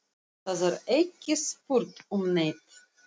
Það er ekki spurt um neitt.